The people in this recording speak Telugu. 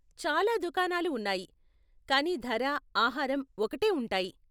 చాలా దుకాణాలు ఉన్నాయి, కానీ ధర, ఆహారం ఒకటే ఉంటాయి.